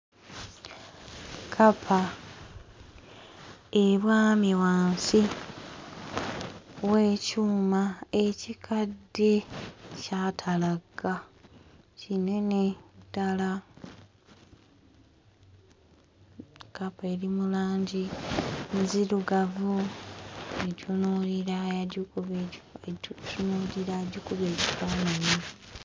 Kkapa ebwamye wansi w'ekyuma ekikadde kyatalagga, kinene ddala. Kkapa eri mu langi nzirugavu etunuulira yagikuba etunuulira agikuba ekifaananyi.